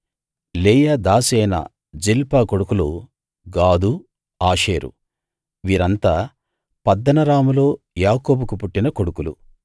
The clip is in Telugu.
లేయా దాసి అయిన జిల్పా కొడుకులు గాదు ఆషేరు వీరంతా పద్దనరాములో యాకోబుకు పుట్టిన కొడుకులు